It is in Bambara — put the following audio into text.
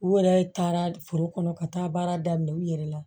U yɛrɛ taara foro kɔnɔ ka taa baara daminɛ u yɛrɛ la